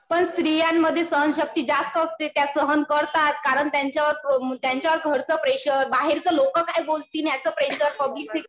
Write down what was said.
पण स्त्रियांमध्ये सहनशक्ती जास्त असते. त्या सहन करतात. कारणं त्यांच्यावर घरचं प्रेशर, बाहेरचे लोकं काय बोलतील याच प्रेशर, पब्लिकचं